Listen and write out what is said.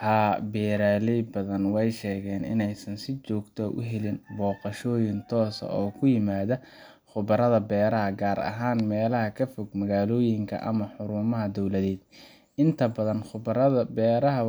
Haa beeraley badana wey shegeen in ey si jogta ax uhelin boqashooyin tos oo kuimada qubarada beeraha gaar ahaan meelaha kafog magaaloyinka ama xurumaha downloaded. Inta badan qubarada beeraha